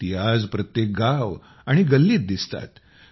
ते आज प्रत्येक गाव आणि गल्लीत पहाता येतात